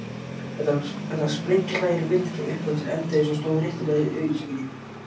Þetta var sprenghlægileg mynd frá upphafi til enda eins og stóð réttilega í auglýsingunni.